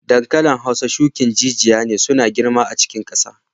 Dankalin Hausa shukin jijiya ne suna girma a cikin kasa.